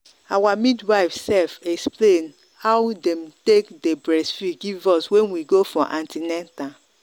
our midwife sefexplain how them take day breastfeed give us when we go for an ten atal.